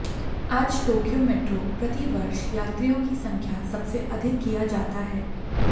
आज Tokyo metro प्रति वर्ष यात्रियों की संख्या सबसे अधिक किया जाता है